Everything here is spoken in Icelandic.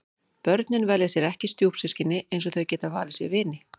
Börnin velja sér ekki stjúpsystkini eins og þau geta valið sér vini.